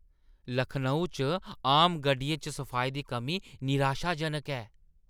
लखनऊ च आम गड्डियें च सफाई दी कमी निराशाजनक ऐ।